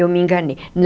Eu me enganei.